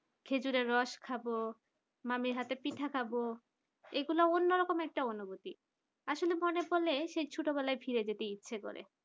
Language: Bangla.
খেজুরের রস খাব মামীর হাতে পিঠা খাব এগুলা অন্যরকম একটা অনুভূতি আসলে মনে পড়লে সেই ছোটবেলায় ফিরে যেতে ইচ্ছে করে